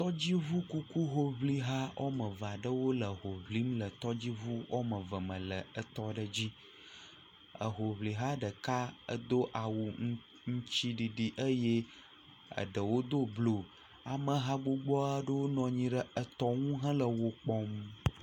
Tɔdziʋu kuku hoʋliha wo ame eve aɖewo le ho ʋlim le tɔdziʋi wo ame eve me le tɔ aɖe dzi hoʋliha ɖeka do awu aŋtiɖiɖi ɖewo do blu ameha gbogbo aɖewo nɔ anyi tɔ nu hele wo kpɔm